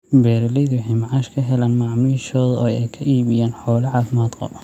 Beeralayda waxay macaash ka helaan macaamiishooda oo ay ka iibiyaan xoolo caafimaad qaba.